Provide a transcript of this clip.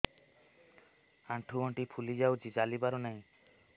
ଆଂଠୁ ଗଂଠି ଫୁଲି ଯାଉଛି ଚାଲି ପାରୁ ନାହିଁ